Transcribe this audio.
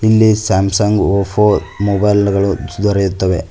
ಇಲ್ಲಿ Samsung Oppo ಮೊಬೈಲ್ಗಳು ದೊರೆಯುತ್ತವೆ.